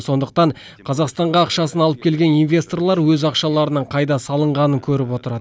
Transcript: сондықтан қазақстанға ақшасын алып келген инвесторлар өз ақшаларының қайда салынғанын көріп отырады